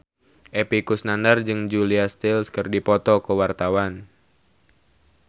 Epy Kusnandar jeung Julia Stiles keur dipoto ku wartawan